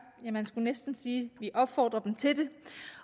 ja man skulle næsten sige at vi opfordrer dem til det